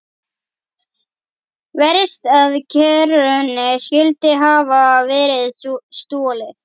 Verst að kerrunni skyldi hafa verið stolið.